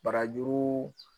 Barajuru